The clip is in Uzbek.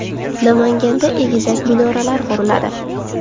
Namanganda egizak minoralar quriladi.